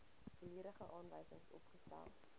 volledige aanwysings opgestel